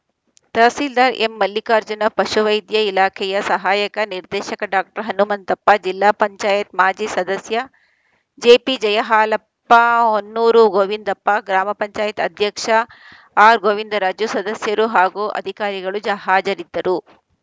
ತಹಸೀಲ್ದಾರ್‌ ಎಂಮಲ್ಲಿಕಾರ್ಜುನ ಪಶುವೈದ್ಯ ಇಲಾಖೆಯ ಸಹಾಯಕ ನಿರ್ದೇಶಕ ಡಾಕ್ಟರ್ ಹನುಮಂತಪ್ಪ ಜಿಲ್ಲಾ ಪಂಚಾಯತ್ ಮಾಜಿ ಸದಸ್ಯ ಜೆಪಿಜಯಹಾಲಪ್ಪ ಹೊನ್ನೂರು ಗೋವಿಂದಪ್ಪ ಗ್ರಾಮ ಪಂಚಾಯತ್ ಅಧ್ಯಕ್ಷ ಆರ್‌ಗೋವಿಂದರಾಜು ಸದಸ್ಯರು ಹಾಗೂ ಅಧಿಕಾರಿಗಳು ಜ ಹಾಜರಿದ್ದರು